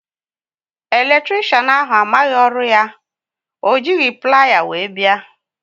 Eletricịanahụ amaghị ọrụ ya, ọ jighị plier wee bịa